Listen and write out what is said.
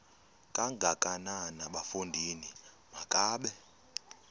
kangakanana bafondini makabe